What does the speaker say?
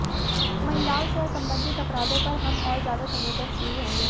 महिलाओं से संबंधित अपराधों पर हम और ज्यादा संवेदनशील होंगे